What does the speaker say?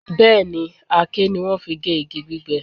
Bẹ́ẹ̀, àáké ni wọ́n fi gé igi gbígbẹ